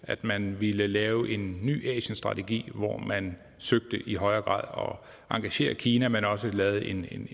at man ville lave en ny asienstrategi hvor man søgte i højere grad at engagere kina men også lavede en